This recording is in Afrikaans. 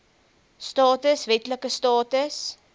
status wetlike status